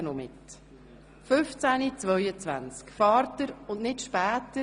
Um 15.22 Uhr fährt der Zug und nicht später.